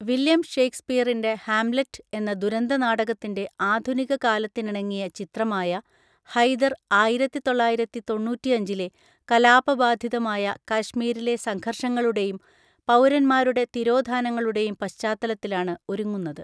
William ഷേക്സ്പിയറിൻ്റെ Hamlet എന്ന ദുരന്തനാടകത്തിൻ്റെ ആധുനികകാലത്തിനിണങ്ങിയ ചിത്രമായ ഹൈദർ ആയിരത്തി തൊള്ളായിരത്തി തൊണ്ണൂറ്റി അഞ്ചിലെ കലാപബാധിതമായ കാശ്മീരിലെ സംഘർഷങ്ങളുടെയും പൗരന്മാരുടെ തിരോധാനങ്ങളുടെയും പശ്ചാത്തലത്തിലാണ് ഒരുങ്ങുന്നത്.